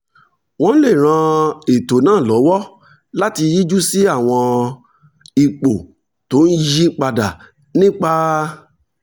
wọ́n lè ran ètò náà lọ́wọ́ láti yíjú sí àwọn ipò tó ń yí padà nípa